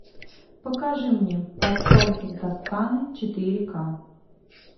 покажи мне под солнцем тосканы четыре ка